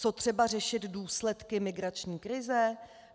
Co třeba řešit důsledky migrační krize?